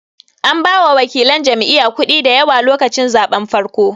An ba wakilan jam'iya kuɗi dayawa lokacin zaɓen farkon